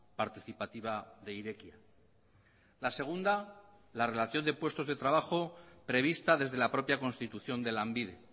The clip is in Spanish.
participativa de irekia la segunda la relación de puestos de trabajo prevista desde la propia constitución de lanbide